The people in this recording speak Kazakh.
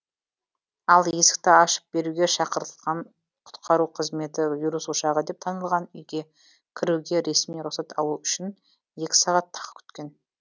ал есікті ашып беруге шақыртылған құтқару қызметі вирус ошағы деп танылған үйге кіруге ресми руқсат алу үшін екі сағат тағы күткен